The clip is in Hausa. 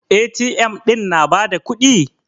A.T.M ɗin na ba da kuɗi?